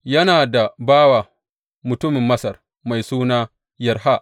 Yana da bawa mutumin Masar mai suna Yarha.